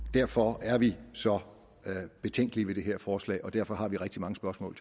derfor er vi så betænkelige ved det her forslag og derfor har vi rigtig mange spørgsmål